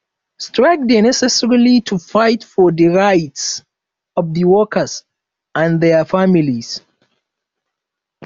strike dey necessary to fight for di rights of di workers and dia families